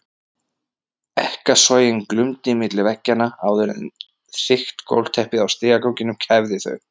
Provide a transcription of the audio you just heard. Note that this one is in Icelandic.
Ekkasogin glumdu milli veggjanna áður en þykkt gólfteppið á stigaganginum kæfði þau.